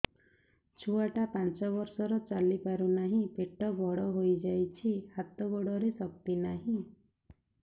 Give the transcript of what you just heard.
ଛୁଆଟା ପାଞ୍ଚ ବର୍ଷର ଚାଲି ପାରୁ ନାହି ପେଟ ବଡ଼ ହୋଇ ଯାଇଛି ହାତ ଗୋଡ଼ରେ ଶକ୍ତି ନାହିଁ